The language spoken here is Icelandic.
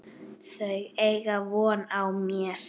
Þau eiga von á mér.